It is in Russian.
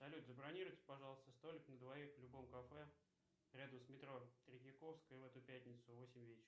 салют забронируйте пожалуйста столик на двоих в любом кафе рядом с метро третьяковская в эту пятницу в восемь вечера